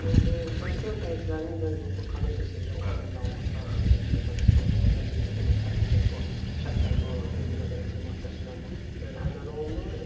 vergi ödəyicilərin, yəni bu kommersiya sirri olan bir məlumatlar var vergi məcəlləsinə uyğun dövlət vergi xidməti tərəfindən bu şərtlər bu vergi məcəlləsinin maddəsinə yəni əməl olunur.